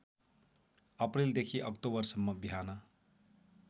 अप्रिलदेखि अक्टोबरसम्म बिहान